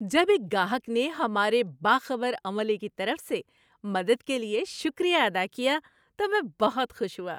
جب ایک گاہک نے ہمارے باخبر عملے کی طرف سے مدد کے لیے شکریہ ادا کیا تو میں بہت خوش ہوا۔